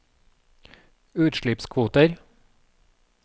utslippskvoter